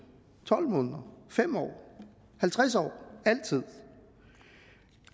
tolv måneder fem år halvtreds år altid